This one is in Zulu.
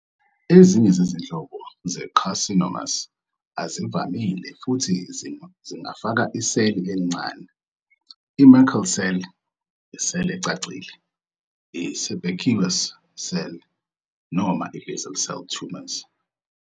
Ezinye izinhlobo ze-carcinomas azivamile futhi zingafaka iseli elincane, i- Merkel cell, i- cell ecacile, i-sebaceous cell noma i- basal cell tumors.